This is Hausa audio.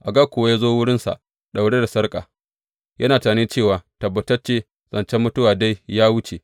Agag kuwa ya zo wurinsa daure da sarƙa, yana tunani cewa, Tabbatacce zancen mutuwa dai ya wuce.